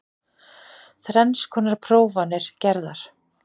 Þrenns konar prófanir gerðar